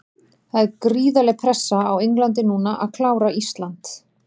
Það er gríðarleg pressa á Englandi núna að klára Ísland.